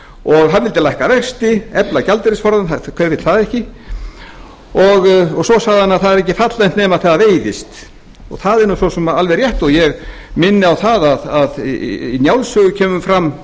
og hann vildi lækka vexti efla gjaldeyrisforðann hver vill það ekki svo sagði hann að það er ekki fallegt nema það veiðist það er nú svo sem alveg rétt og ég minni á það að í njálssögu kemur fram